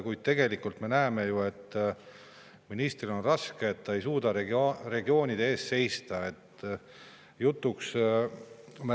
Kuid tegelikult me näeme ju, et ministril on raske, et ta ei suuda regioonide eest seista.